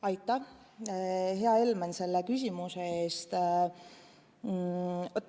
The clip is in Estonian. Aitäh, hea Helmen, selle küsimuse eest!